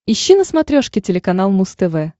ищи на смотрешке телеканал муз тв